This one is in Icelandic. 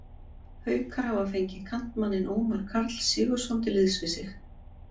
Haukar hafa fengið kantmanninn Ómar Karl Sigurðsson til liðs við sig.